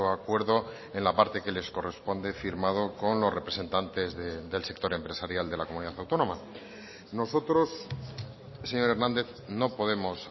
acuerdo en la parte que les corresponde firmado con los representantes del sector empresarial de la comunidad autónoma nosotros señor hernández no podemos